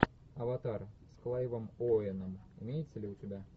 аватар с клайвом оуэном имеется ли у тебя